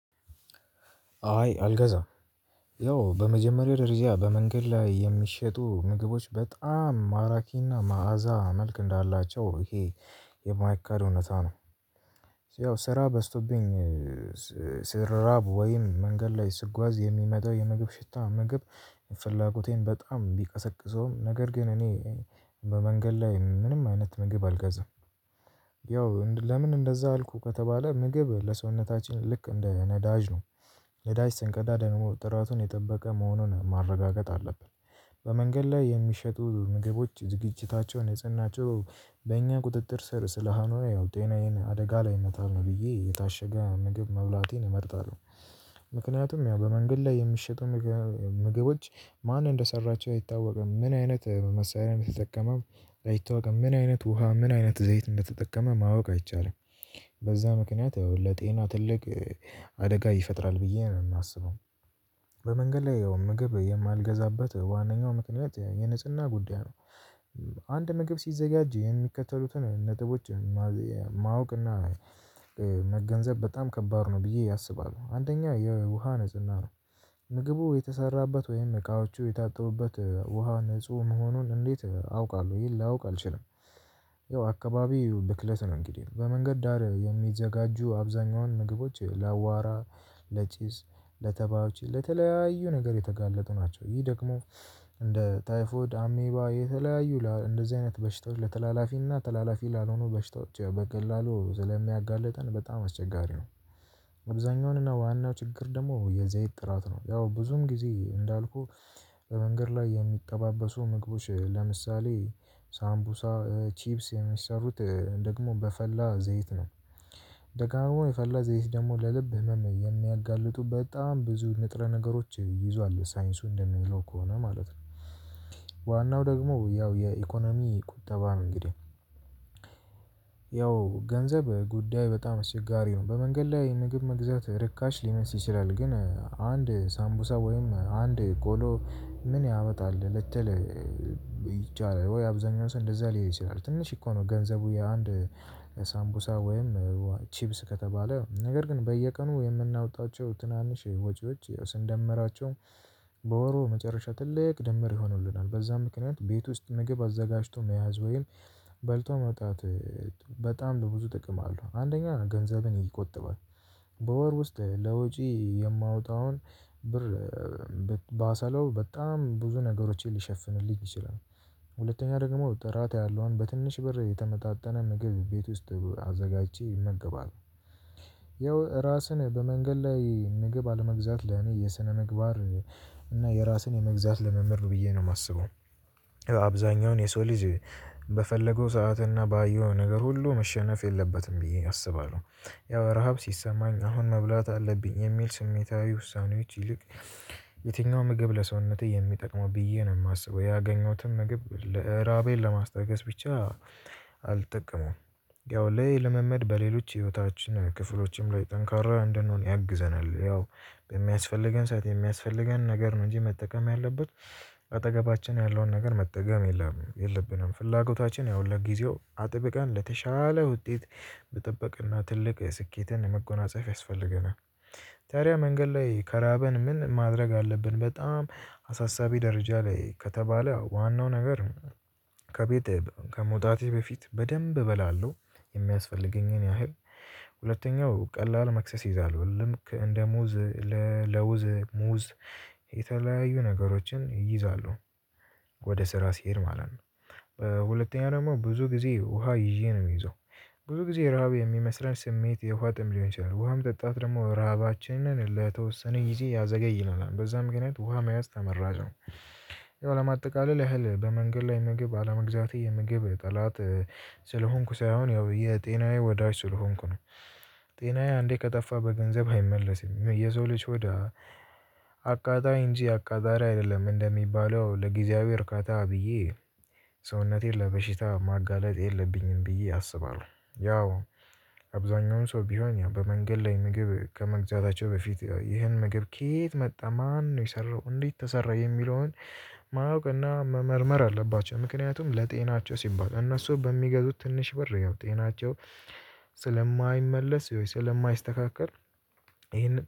አይ አልገዛም ያው በመጀመሪያው ደረጃ በመንገድ ላይ የሚሸጡ ምግቦች በጣም ማራኪና መዓዛ መልክ እንዳላቸው ይሄ የማይካድ እውነት ነው። ያው ስራ በዝቶብኝ ስራብ ወይም መንገድ ላይ ስጓዝ የሚመጣው የምግብ ሽታ የምግብ ፈላጎቴን በጣም ቢቀሰቅሰውም ነገር ግን እኔ በመንገድ ላይ ምንም አይነት ምግብ አልገዛም። ያው ለምን እንደዛ አልኩ ከተባለ ምግብ ለሰውነታችን ልክ እንደ ነዳጅ ነው። የዳጅ ስንቀዳ ደግሞ ጥራቱን የጠበቀ መሆኑን ማረጋገጥ አለብን። በመንገድ ላይ የሚሸጡ ምግቦች ዝግጅታቸው ንጽህናቸው በእኛ ቁጥጥር ስር ስላልሆነ ያው ጤናዬን አደጋ ላይ መጣል ነው ብዬ የታሸገ ምግብ መብላትን እመርጣለሁ። ምክንያቱም ያው በመንገድ ላይ የምትሸጡ ምግቦች ማን እንደሰራቾ አይታወቅም። ምን አይነት መሳሪያ እንደተጠቀመም አይታወቅም። ምን አይነት ውሃ ምን አይነት ዘይት እንደተጠቀመ ማወቅ አይቻልም። በዛ ምክንያት ያው ለጤና ትልቅ አደጋ ይፈጥራል ብዬ ነው የማስበው። በመንገድ ላይ ያው ምግብ የማልገዛበት ዋናኛው ምክንያት የንጽህና ጉዳይ ነው። አንድ ምግብ ሲዘጋጅ የሚከተሉትን ነጥቦች ማወቅ እና መገንዘብ በጣም ከባድ ነው ብዬ አስባለሁ። አንደኛ የውሃ ነጽና ነው። ምግቡ የተሰራበት ወይም እቃዎቹ የታጠቡበት ውሃ ንጹህ መሆኑን እንዴት አውቃለሁ ይሄን ላውቅ አልችልም። ያው አካባቢው ብክለት ነው እንግዲህ በመንገድ ዳር የሚዘጋጁ አብዛኛውን ምግቦች ለአዋራ ለጪስ ለተባውች ለተለያዩ ነገር የተጋለጡ ናቸው። ይህ ደግሞ እንደ ታይፎድ አሜባ የተለያዩ እንደዚህ አይነት በሽታዎች ለተላላፊና ተላላፊ ላልሆኑ በሽታዎች በቀላሉ ስለሚያጋለጠን በጣም አስቸጋሪ ነው። አብዛኛውንና ዋናው ችግር ደግሞ የዘይት ጥራት ነው። ያው ብዙም ጊዜ እንዳልኩህ በመንገድ ላይ የሚቀባበሱ ምግቦች ለምሳሌ ሳምቡሳ ቺፕስ የሚሰሩት ደግሞ በፈላ ዘይት ነው። ደጋግሞ የፈላ ዘይት ደግሞ ለልብ ህመም የሚያጋልጡበት ብዙ ንጥረ ነገሮች ይዟል ሳይንሱ እንደሚለው ከሆነ ማለት ነው። ዋናው ደግሞ ያው የኢኮኖሚ ቁጠባም ነው እንግዲህ። ያው ገንዘብ ጉዳይ በጣም አስቸጋሪ ነው በመንገድ ላይ ምግብ መግዛት ርካሽ ሊመስ ይችላል። ግን አንድ ሳምቡሳ ወይም አንድ ቆሎ ምን ያመጣል ልትል? ይቻላል ወይ አብዛኛው ሰው እንደዛ ሊይ ሲል አለ ትንሽ እኮ ነው። ገንዘቡ የአንድ ሳምቡሳ ወይም ቺብስ ከተባለ ነገር ግን በየቀኑ የምናወጣቸው ትናንሽ ወጪዎች ስንደመራቸው በወሩ መጨረሻ ትልቅ ደመር ይሆኑልናል። በዛም ምክንያት ቤት ውስጥ ምግብ አዘጋጅቶ መያዝ ወይም በልቶ መውጣት በጣም በብዙ ጥቅም አለው። አንደኛ ገንዘብን ይቆጥባል። በወር ውስጥ ለወጪ የማወጣውን ብር ባሰለው በጣም ብዙ ነገሮችን ሊሸፍንልኝ ይችላል። ሁለተኛ ደግሞ ጥራት ያለውን በትንሽ ብር የተመጣጠነ ምግብ ቤት ውስጥ አዘጋጅቼ እመገባለሁ። ያው ራስን በመንገድ ላይ ምግብ አለመግዛት ለኔ የስነምግባር እና የራስን የመግዛት ለምምድ ነው ብዬ ነው የማስበው። አብዛኛውን የሰው ልጅ በፈለገው ሰዓትና ባየው ነገር ሁሉ መሸነፍ የለበትም ብዬ አስባለሁ። ያው ረሃብ ሲሰማኝ አሁን መብላት አለብኝ የሚል ስሜታዊ ውሳኔዎች ይልቅ። የትኛው ምግብ ለሰውነቴ የሚጠቅመው ብዬ ነው የማስበው። ያገኘሁትን ምግብ ራቤን ለማስታገስ ብቻ አልጠቅመውም። ያው እሄ ልምምድ በሌሎች ህይወታችን ክፍሎችም ላይ ጠንካራ እንደሆነ ያግዘናል። ያው በሚያስፈልገን ሰዓት የሚያስፈልገን ነገር ነው እንጂ መጠቀም ያለበት። አጠገባችን ያለውን ነገር መጠቀም የለም የለብንም ፍላጎታችን ያው ለጊዜው አጥብቀን ለተሻለ ውጤት መጠብቅና ትልቅ ስኬትን መጎናጸፍ ያስፈልገናል። ታዲያ መንገድ ላይ ከራበን ምን ማድረግ አለብን? በጣም አሳሳቢ ደረጃ ላይ ከተባለ ዋናው ነገር ከመውጣቴ በፊት በደንብ እበላለሁ። የሚያስፈልገኝን ያህል ሁለተኛው ቀላል መክሰስ ይይዛለሁ ልክ እንደ ሙዝ ለውዝ ሙዝ የተለያዩ ነገሮችን ይይዛለሁ። ወደ ስራ ሲሄድ ማለት ነው። በሁለተኛው ደግሞ ብዙ ጊዜ ውሃ ይዤ ነው የሚሄዶ። ብዙ ጊዜ ረሃብ የሚመስለን ስሜት የውሃ ጥም ሊሆን ይችላል ውሃም ጠጣት ደግሞ ረሃባችንን ለተወሰነ ጊዜ ያዘገይናል በዛም ገና ውሃ መያዝ ተመራጭ ነው። ይሄው ለማጠቃለል ያህል በመንገድ ላይ ምግብ አለመግዛቴ የምግብ ጠላት ስለሆንኩ ሳይሆን ያው የጤናዬ ወዳጅ ስለሆንኩ ነው። ጤናዬ አንዴ ከጠፋ በገንዘብ አይመለስም። የሰው ልጅ ሆድ አቃጣይ እንጂ አቃጣሪ አይደለም። እንደሚባለው ለጊዜያዊ እርካታ ብዬ ሰውነቴን ለበሽታ ማጋለጥ የለብኝም ብዬ አስባለሁ። ያው አብዛኛውን ሰው ቢሆን ያው በመንገድ ላይ ምግብ ከመግዛታቸው በፊት ያው እሄ ምግብ ከየት መጣ ማነው የሰራው እንዴት ተሰራ የሚለውን ማወቅና መመርመር አለባቸው። ምክንያቱም ለጤናቸው ሲባል እነሱ በሚገዙት ትንሽ ብር ያው ጤናቸው ስለማይመለስ ስለማይስተካከል እሄንን